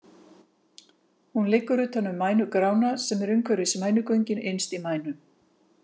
Hún liggur utan um mænugrána sem er umhverfis mænugöngin innst í mænu.